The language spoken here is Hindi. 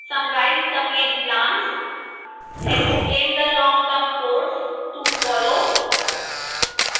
summarize the main plans